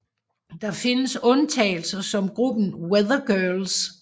Der findes undtagelser som gruppen Weather Girls